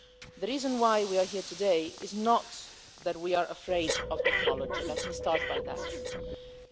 The reason why we are here today is not that we are afraid of technology, let me start by saying that.